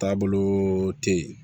Taabolo te yen